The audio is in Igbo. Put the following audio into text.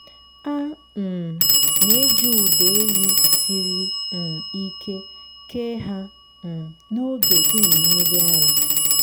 a um na-eji ụdọ ehi siri um ike kee ha um n’oge ịmị mmiri ara.